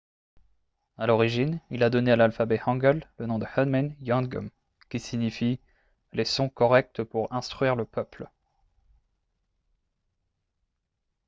à l’origine il a donné à l’alphabet hangeul le nom de hunmin jeongeum qui signifie « les sons corrects pour instruire le peuple »